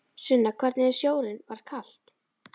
Sunna: Hvernig er sjórinn, var kalt?